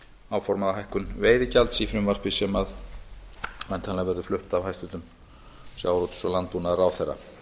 áformaða hækkun veiðigjalds í frumvarpi sem væntanlega verður flutt af hæstvirtum sjávarútvegs og landbúnaðarráðherra